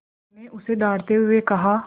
अम्मा ने उसे डाँटते हुए कहा